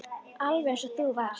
Alveg eins og þú varst.